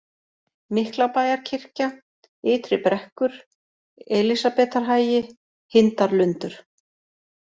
Miklabæjarkirkja, Ytri Brekkur, Elísarbetarhagi, Hindarlundur